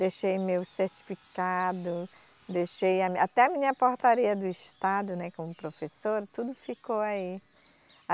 Deixei meu certificado, deixei a, até a minha portaria do estado, né, como professora, tudo ficou aí.